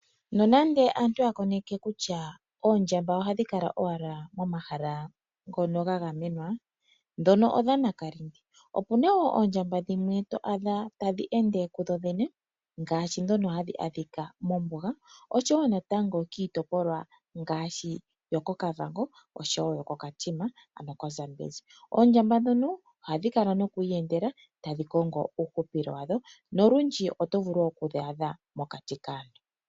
Nonando aantu ya koneke kutya oondjamba ohadhi kala owala pomahala ngono ga gamenwa ngono odha nakalindi . Opuna oondjamba dhimwe to adha tadhi ende dho dhene ngaashi ndhono hadhi adhika oshowo natango kiitopolwa ngaashi oshowo yoko Kavango noko Katima koZambezi . Oondjamba ndhono ohadhi kala noku iyendela tadhi kongo uuhupilo wadho nolundje otovulu oku ohadhi adha mokati kaantu.